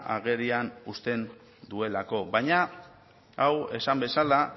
agerian uzten duelako baina hau esan bezala